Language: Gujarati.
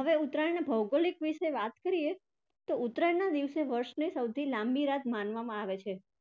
હવે ઉત્તરાયણ ભૌગોલીક વિશે વાત કરીએ તો ઉત્તરાયણના દિવસને વર્ષની સૌથી લાંબી રાત માનવામાં આવે છે.